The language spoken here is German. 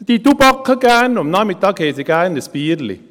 Sie tubaken gerne, und am Nachmittag haben sie gerne ihr Bierchen.